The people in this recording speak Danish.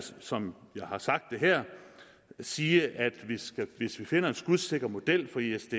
som jeg har sagt det her sige at hvis vi finder en skudsikker model for isds